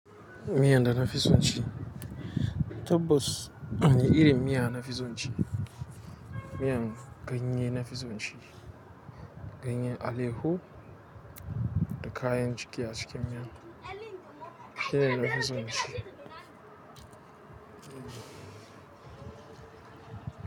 Miyan da na fi son shi, tabbas wani irin miya na fi son ci. Miyan ganye na fi son ci, ganyen aleho da kayan ciki a cikin miya. Shine na fi son ci.